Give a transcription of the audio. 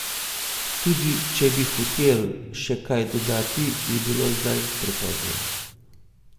Tudi če bi hotel še kaj dodati, je bilo zdaj prepozno.